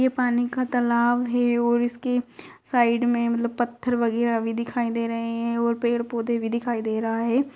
ये पानी का तालाब है और इसके साइड में मतलब पत्थर वगैरा भी दिखाई दे रहे हैं और पेड़-पौधे भी दिखाई दे रहा है।